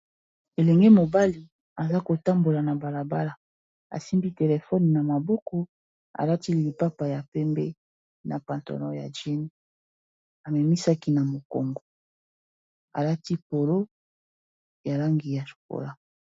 Elenge mobali aza kotambola na balabala asimbi telefone na maboko alati lipapa ya pembe na patalon ya jeans amemisaki na mokongo alati polo ya langi ya chokola.